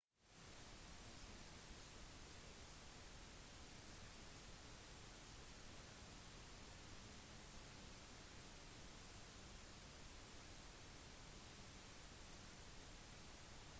disse nerveimpulsene kan sendes så raskt gjennom hele kroppen noe som gjør at kroppen holder seg trygg fra mulige farer